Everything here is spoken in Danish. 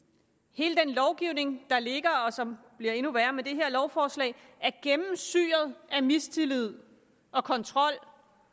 hele den lovgivning der ligger og som bliver endnu værre med det her lovforslag er gennemsyret af mistillid og kontrol